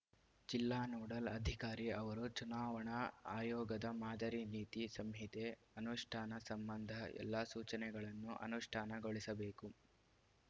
ಜಿಲ್ಲಾ ನೋಡಲ್‌ ಅಧಿಕಾರಿ ಅವರು ಚುನಾವಣಾ ಆಯೋಗದ ಮಾದರಿ ನೀತಿ ಸಂಹಿತೆ ಅನುಷ್ಠಾನ ಸಂಬಂಧ ಎಲ್ಲ ಸೂಚನೆಗಳನ್ನು ಅನುಷ್ಠಾನಗೊಳಿಸಬೇಕು